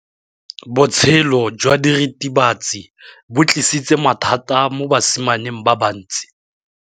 Botshelo jwa diritibatsi ke bo tlisitse mathata mo basimaneng ba bantsi.